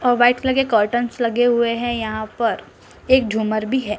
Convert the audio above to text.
अ white colour curtains लगे हुए है यहाँ पर एक झूमर भी है।